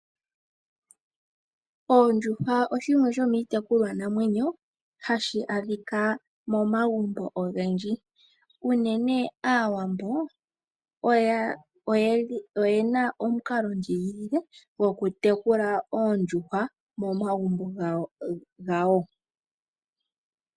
Oondjuhwa shimwe sho miitekukwa namwenyo hashi adhika momagumbo ogendji uunene Aawambo oyena omukalo ndjigilile koku tekula oondjuhwa momagumbo gawo.